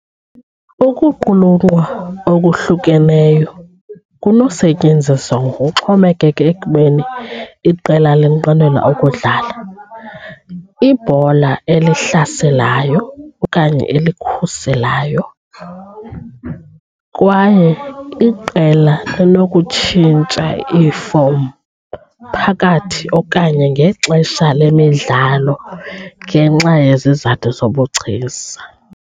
Ukuqulunqwa okuhlukeneyo kunokusetyenziswa ngokuxhomekeke ekubeni iqela linqwenela ukudlala ibhola elihlaselayo okanye elikhuselayo, kwaye iqela linokutshintsha iifom phakathi okanye ngexesha lemidlalo ngenxa yezizathu zobugcisa.